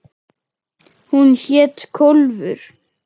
Hún hét Kólfur.